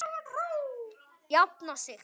Jafna sig?